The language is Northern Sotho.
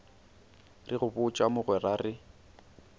re go botša mogwera re